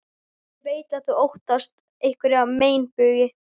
Ég veit að þú óttast einhverja meinbugi.